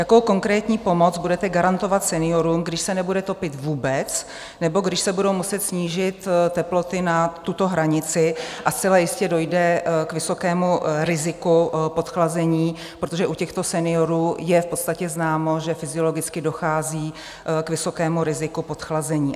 Jakou konkrétní pomoc budete garantovat seniorům, když se nebude topit vůbec nebo když se budou muset snížit teploty na tuto hranici a zcela jistě dojde k vysokému riziku podchlazení, protože u těchto seniorů je v podstatě známo, že fyziologicky dochází k vysokému riziku podchlazení?